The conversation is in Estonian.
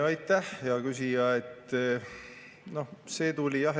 Aitäh, hea küsija!